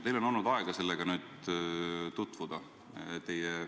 Teil on olnud nüüd aega sellega tutvuda.